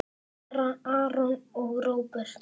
Fara Aron og Róbert?